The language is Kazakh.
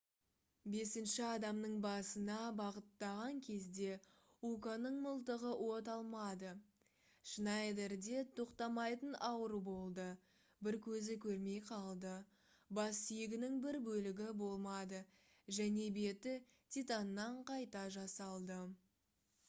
бесінші адамның басына бағыттаған кезде уканың мылтығы от алмады шнайдерде тоқтамайтын ауыру болды бір көзі көрмей қалды бассүйегінің бір бөлігі болмады және беті титаннан қайта жасалды